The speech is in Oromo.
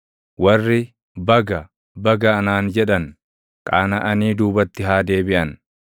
Warri, “Baga! Baga!” anaan jedhan qaanaʼanii duubatti haa deebiʼan.